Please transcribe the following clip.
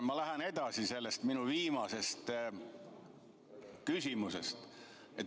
Ma lähen oma viimasest küsimusest edasi.